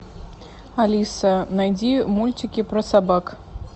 алиса найди мультики про собак